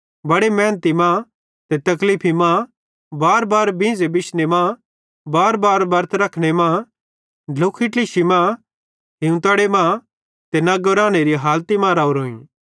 बड़े मेहनती मां ते तकलीफी मां बारबार बींझ़े बिशने मां बारबार बरत रखने मां ढ्लुख ट्लिशी मां हिवतड़े मां ते नग्गे रानेरी हालती मां राहोरोइं